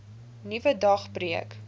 nuwe dag breek